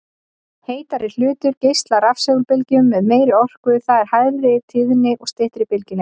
Heitari hlutur geislar rafsegulbylgjum með meiri orku, það er hærri tíðni og styttri bylgjulengd.